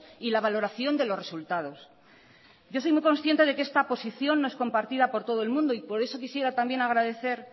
y la valoración de los resultados yo soy muy consciente de que esta posición no es compartida por todo el mundo y por eso quisiera también agradecer